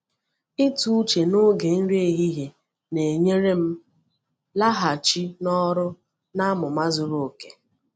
Ịtụ uche n’oge nri ehihie na-enyere m laghachi n’ọrụ n’amụma zuru oke.